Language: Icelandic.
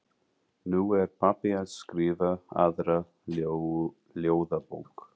Nú er pabbi að skrifa aðra ljóðabók.